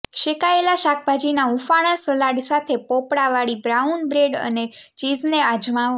શેકાયેલા શાકભાજીના હુંફાળાં સલાડ સાથે પોપડાવાળી બ્રાઉન બ્રેડ અને ચીઝને અજમાવો